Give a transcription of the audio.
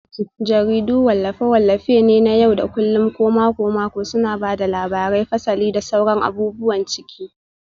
Jaridu wallafe-wallafe ne na yau da kullun ko mako-mako suna ba da labarai, fasali, da sauran abubuwan ciki.